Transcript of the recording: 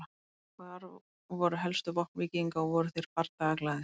Hver voru helstu vopn víkinga og voru þeir bardagaglaðir?